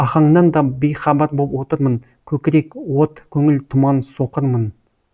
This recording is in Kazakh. ахаңнан да бейхабар боп отырмын көкірек от көңіл тұман соқырмын